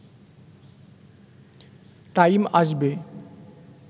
time আসবে